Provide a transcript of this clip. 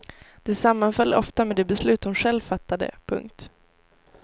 Det sammanföll ofta med de beslut hon själv fattade. punkt